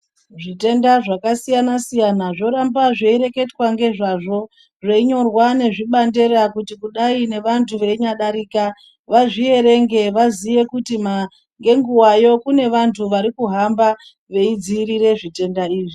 Zvitenda zvakasiyana-siyana zvoramba zveireketwa ngezvazvo zveinyorwa nezvibandera kuti kudai nevantu veinyadarika vazviverenge vazive kuti nenguvayo kune vantu varikuhamba veidzivirire zvitenda izvi.